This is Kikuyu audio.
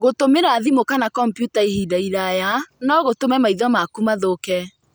Gũtumĩra thimũ kana kompiuta ihinda iraya no gũtũme maitho maku mathũke.